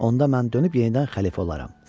Onda mən dönüb yenidən xəlifə olaram.